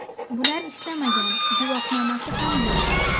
Bular ishlamagan, guvohnomasi ham yo‘q.